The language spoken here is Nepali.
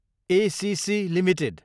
ACC Ltd